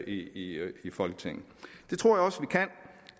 i folketinget det tror